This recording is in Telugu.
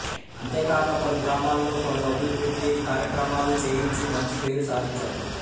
అంతేకాక పలుగ్రామాల్లో పలు అభివృద్ధి కార్యక్రమాలు చేయించి మంచి పేరు సాధించాడు